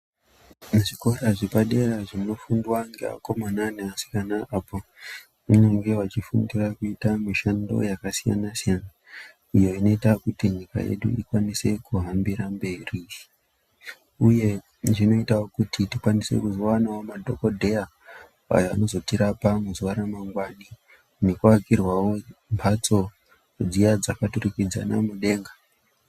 Zvikora zvepadera zvinofundwa neakomana neasikana apo vanenge vachifundira kuita mishando yakasiyana-siyana iyo inoita kuti nyika yedu ikwanise kuhambira mberi. Uye zvinoitawo kuti tikwanise kuzowanawo madhokodheya ayo anozotirapawo muzuva ramangwani. Nekuakirwawo mbatso dziya dzakaturikidzana mudenga.